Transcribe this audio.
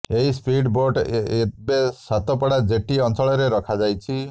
ଏହି speed boat ଏବେ Satapada jetty ଅଞ୍ଚଳରେ ରଖାଯାଇଛି